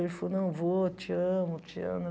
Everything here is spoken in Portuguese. Ele falou, não vou, te amo, te amo.